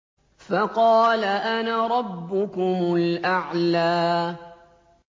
فَقَالَ أَنَا رَبُّكُمُ الْأَعْلَىٰ